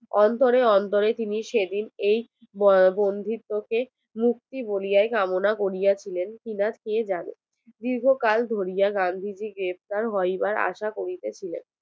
অন্তরে অন্তরে তিনি সেইদিন বন্ধিত্ব কে মুক্তি বইলিয়ায় কামনা করিয়াছিলেন কিনা সে জানে দীর্ঘ কাল ধরিয়া গান্ধী জি গ্রেফতার হওয়ার আসা করিতেছিলেন